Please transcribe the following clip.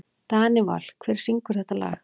Danival, hver syngur þetta lag?